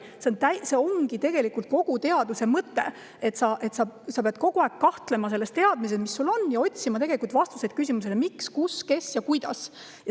See ongi tegelikult kogu teaduse mõte, et kogu aeg peab kahtlema selles teadmises, mis sul on, ja otsima vastuseid küsimustele, miks, kus, kes ja kuidas.